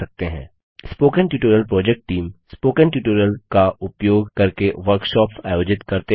spoken tutorial project team spoken tutorial का उपयोग करके वर्कशॉप्स आयोजित करते हैं